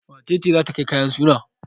Wace ce za ta kai kayan suna?